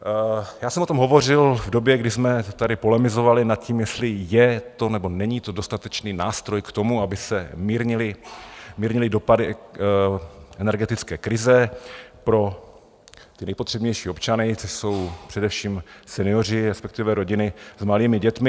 Já jsem o tom hovořil v době, kdy jsme tady polemizovali nad tím, jestli je to, nebo není to dostatečný nástroj k tomu, aby se mírnily dopady energetické krize pro ty nejpotřebnější občany, což jsou především senioři, respektive rodiny s malými dětmi.